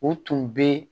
U tun bɛ